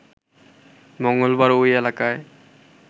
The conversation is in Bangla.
মঙ্গলবার ওই এলাকায়